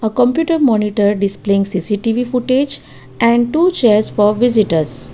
a computer monitor displaying C_C_T_V footage and two chairs for visitors.